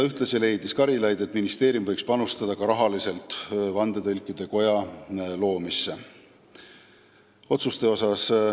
Ühtlasi leidis Karilaid, et ministeerium võiks ka rahaliselt panustada vandetõlkide koja loomisse.